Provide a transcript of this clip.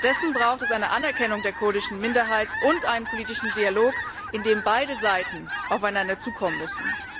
Stattdessen braucht es eine Anerkennung der kurdischen Minderheit und einen politischen Dialog, in dem beide Seiten aufeinander zukommen müssen.